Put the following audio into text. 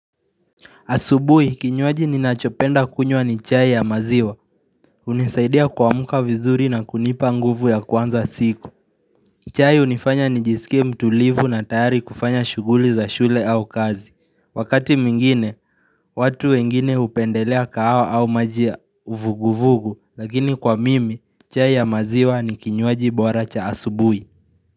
Asubui, kinywaji ninachopenda kunywa ni chai ya maziwa. Hunisaidia kuamka vizuri na kunipa nguvu ya kuanza siku. Chai hunifanya nijisike mtulivu na tayari kufanya shughuli za shule au kazi. Wakati mwingine, watu wengine hupendelea kahawa au maji ya uvuguvugu, lakini kwa mimi, chai ya maziwa ni kinywaji bora cha asubuhi.